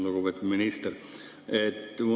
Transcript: Lugupeetud minister!